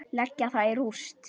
Leggja það í rúst!